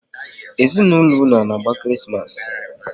Ezinaụlọ unu a na-agba Krismas?